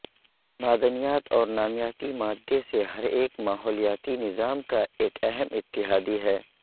معدنیات اور نامیاتی مادے سے ہر ایک ماحولیاتی نظام کا ایک اہم اتحادی ہے